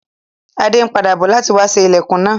Adé n padà bo láti wa sé ilẹ́kùn náà